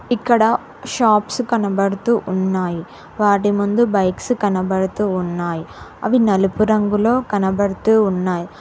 ఇక్కడ షాప్స్ కనబడుతూ ఉన్నాయి వాటి ముందు బైక్స్ కనబడుతూ ఉన్నాయి అవి నలుపు రంగులో కనబడుతూ ఉన్నాయి.